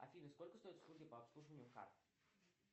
афина сколько стоят услуги по обслуживанию карт